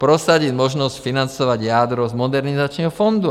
Prosadit možnost financovat jádro z Modernizačního fondu.